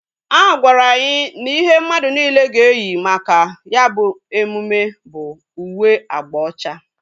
A gwara anyị na ihe mmadụ niile ga eyi maka ya bụ emume bụ uwe agba ocha